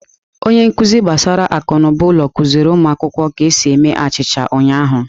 Onye nkuzi gbasara akụnụba ụlọ kụziri ụmụ akwụkwọ ka esi eme achịcha ụnyahụ.